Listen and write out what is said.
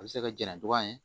A bɛ se ka jɛnna cogoya min